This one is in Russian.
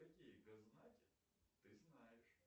какие ты знаешь